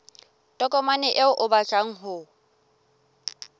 tokomane eo o batlang ho